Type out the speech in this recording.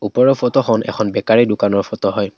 ওপৰৰ ফটো খন এখন বেকাৰী দোকানৰ ফটো হয়।